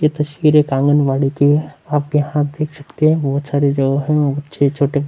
ये तस्वीर एक आंगनबाड़ी की है आप यहाँ देख सकते है बहुत सरे जो है बच्चे छोटे --